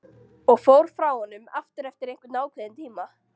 Og fór frá honum aftur eftir einhvern ákveðinn tíma.